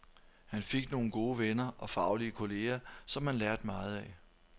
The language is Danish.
Han fik nogle gode venner og faglige kolleger, som han lærte meget af.